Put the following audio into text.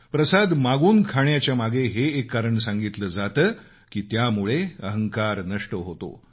प्रसाद मागून खाण्याच्यामागे हे कारण सांगितलं जातं की त्यामुळे अहंकार नष्ट होतो